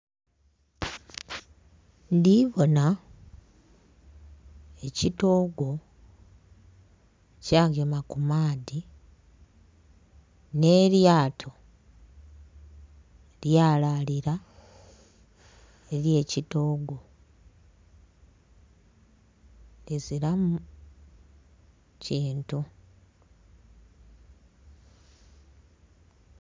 Ndhibona ekitoogo Kya gema ku maadhi nhe lyato lyalalila eri ekitoogo lizilamu kintu.